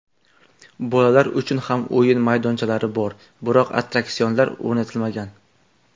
Bolalar uchun ham o‘yin maydonchalari bor, biroq attraksionlar o‘rnatilmagan.